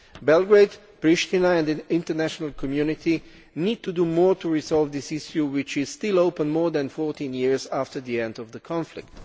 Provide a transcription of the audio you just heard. Belgrade, Pristina and the international community need to do more to resolve this issue, which is still open more than 14 years after the end of the conflict.